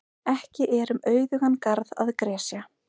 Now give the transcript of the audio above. Ekki er um auðugan garð að gresja.